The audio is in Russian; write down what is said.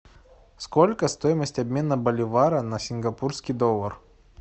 сколько стоимость обмена боливара на сингапурский доллар